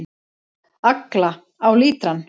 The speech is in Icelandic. Agla: Á lítrann.